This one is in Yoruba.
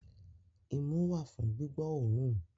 Imú wà fún gbígbọ́ òórùn.